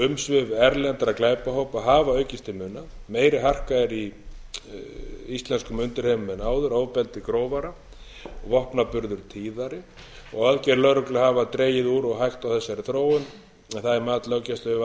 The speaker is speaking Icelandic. umsvif erlendra glæpahópa hafa aukist til muna meiri harka er í íslenskum undirheimum en áður ofbeldi grófara og vopnaburður eru tíðari aðgerðir lögreglu hafa dregið úr og hægt á þessari þróun en það er mat löggæsluyfirvalda